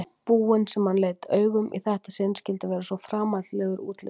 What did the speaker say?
búinn sem hann leit augum í þetta sinn skyldi vera svo framandlegur útlits.